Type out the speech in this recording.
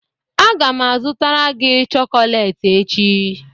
Aga m azụtara gị chocolate echi